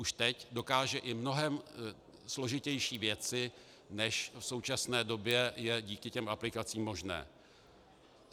Už teď dokáže i mnohem složitější věci, než v současné době je díky těm aplikacím možné.